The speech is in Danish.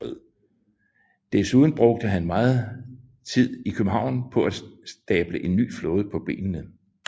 Desuden brugte han megen tid i København på at stable en ny flåde på benene